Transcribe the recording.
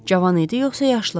Cavan idi yoxsa yaşlı?